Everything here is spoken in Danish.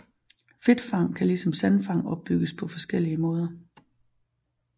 Fedtfang kan ligesom sandfang opbygges på forskellige måder